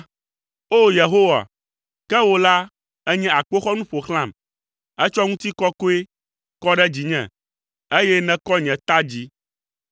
O, Yehowa, ke wò la, ènye akpoxɔnu ƒo xlãm; ètsɔ ŋutikɔkɔe kɔ ɖe dzinye, eye nèkɔ nye ta dzi.